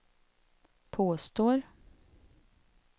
påstår